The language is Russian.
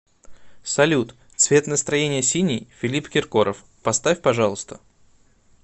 салют цвет настроения синий филипп киркоров поставь пожалуйста